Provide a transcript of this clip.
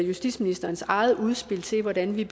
justitsministerens eget udspil til hvordan vi